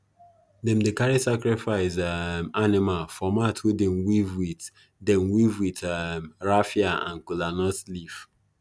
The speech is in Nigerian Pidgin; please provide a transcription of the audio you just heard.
them dey carry sacrifice um animal for mat wey them weave with them weave with um raffia and kola nut leaf